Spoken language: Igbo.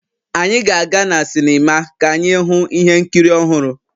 Anyị ga-aga na sinima ka anyị hụ ihe nkiri ọhụrụ